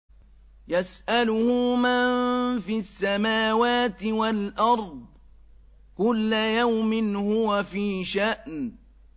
يَسْأَلُهُ مَن فِي السَّمَاوَاتِ وَالْأَرْضِ ۚ كُلَّ يَوْمٍ هُوَ فِي شَأْنٍ